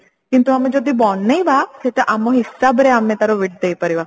କିନ୍ତୁ ଆମେ ଯଦି ବନେଇବା ସେଟା ଆମ ହିସାବରେ ଆମେ ତାର width ଦେଇ ପାରିବା